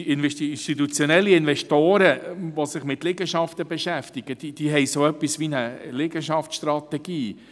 Institutionelle Investoren, die sich mit Liegenschaften beschäftigen, haben so etwas wie eine Liegenschaftsstrategie.